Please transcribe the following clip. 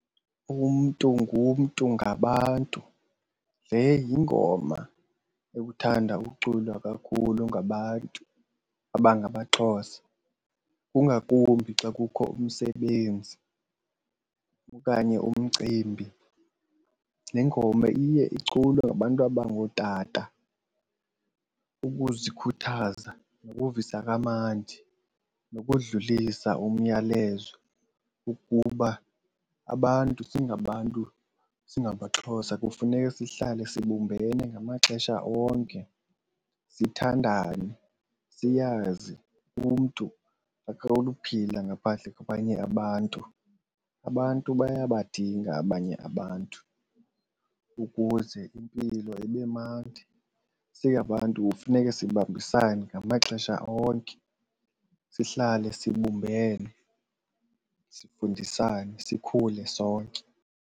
Umntu ngumntu ngabantu, le yingoma ekuthanda uculwa kakhulu ngabantu abangamaXhosa kungakumbi xa kukho umsebenzi okanye umcimbi. Le ngoma iye iculwe ngabantu abangootata ukuzikhuthaza ukuvisa kamandi nokudlulisa umyalezo wokuba abantu singabantu singamaXhosa kufuneka sihlale sibumbane ngamaxesha onke. Sithandane, siyazi umntu akanokuphila ngaphandle kwabanye abantu. Abantu bayabadinga abanye abantu ukuze impilo ibe mnandi. Singabantu funeke sibambisane ngamaxesha onke sihlale sibumbene, sifundisane sikhule sonke.